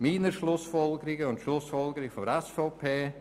Meine Schlussfolgerungen und die Schlussfolgerungen der SVP: